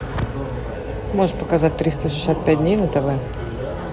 можешь показать триста шестьдесят пять дней на тв